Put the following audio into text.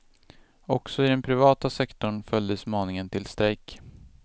Också i den privata sektorn följdes maningen till strejk.